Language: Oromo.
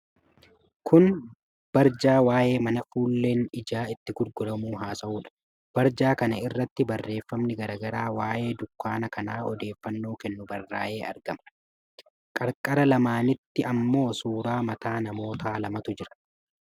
Kun barjaa waa'ee mana fuulleen ijaa itti gurguramuu haasa'uudha. Barjaa kan a irratti barreeffamni garaa garaa waa'ee dukkaana kanaa odeeffannoo kennu barraa'ee argama. qarqara lamaanitti ammoo suura mataa namoota lamaatu jira.